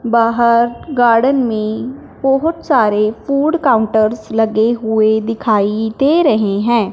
बाहर गार्डन में बहुत सारे फूड काउंटर्स लगे हुए दिखाई दे रहे हैं।